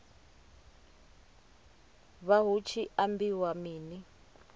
vha hu tshi ambiwa mini